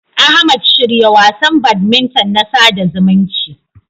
Ahmad, shirya wasan badminton na sada zumunci.